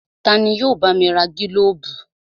Tani yóò bá mi ra gílóbù?